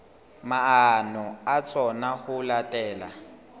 maano a tsona ho latela